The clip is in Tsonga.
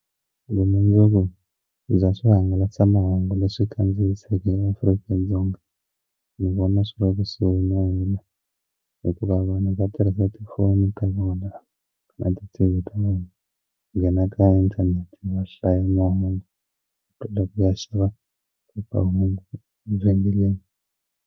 Vumundzuku bya swihangalasamahungu leswi kandziyisiweke eAfrika-Dzonga ni vona swi olova swinene hikuva vanhu va tirhisa ti phone ta vona na ti T_V ta vona ku nghena ka inthanete ya hlaya mahungu ku ya xava phephahungu evhengeleni.